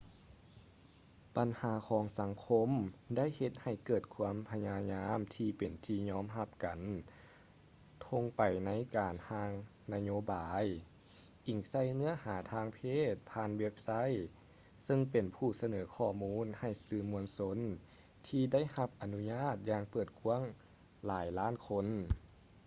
ບັນຫາຂອງສັງຄົມໄດ້ເຮັດໃຫ້ເກີດຄວາມພະຍາຍາມທີ່ເປັນທີ່ຍອມຮັບກັນທົ່ງໄປໃນການຮ່າງນະໂຍບາຍອີງໃສ່ເນື້ອຫາທາງເພດຜ່ານເວັບໄຊເຊິ່ງເປັນຜູ້ສະເໜີຂໍ້ມູນໃຫ້ສື່ມວນຊົນທີ່ໄດ້ຮັບອະນຸຍາດຢ່າງເປີດກວ້າງຫຼາຍລ້ານຄົນ